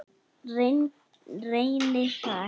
Reyni það ekki.